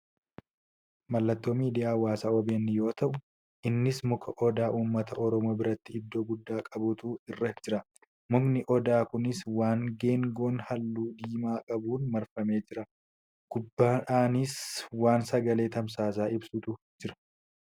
Mallattoo miidiyaa hawaasaa OBN yoo ta'u, innis muka odaa uummata oromoo biratti iddoo guddaa qabutu irra jira. Mukni odaa kunis waan geengoo haalluu diimaa qabuun marfamee jira. Gubbaadhanis waan sagalee tamsaasaa ibsutu jira.